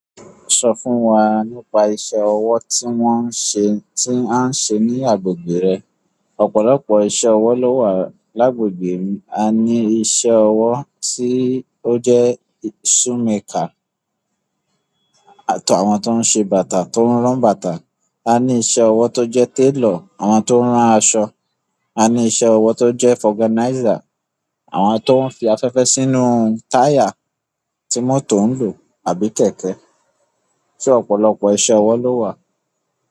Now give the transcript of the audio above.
Sọ fún wa nípa iṣẹ́ ọwọ́ tí wọ́n ń ṣe, tí a ń ṣe ní agbègbè rẹ. Ọ̀pọ̀lọpọ̀ iṣẹ́ ọwọ́ ló wà lágbègbè mi. A ní iṣẹ́ ọwọ́ tí ó jẹ́ shoemaker, àtọ̀ àwọn tó ń ṣe bàtà, tó ń rán bàtà. A ní iṣẹ́ ọwọ́ tó jẹ́ tailor, àwọn tó ń rán aṣọ. A ní iṣẹ́ ọwọ́ tó jẹ́ forganizer, àwọn tó ń fi afẹ́fẹ́ sínú táyà tí mọ́tò ń lò àbí kẹ̀kẹ́. Sé ọ̀pọ̀lọpọ̀ iṣẹ́ ọwọ́ ló wà.